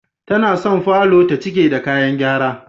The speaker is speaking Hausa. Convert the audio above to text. Tana son falor ta cike da kayan gyara.